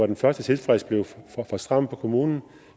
den første tidsfrist var for stram for kommunen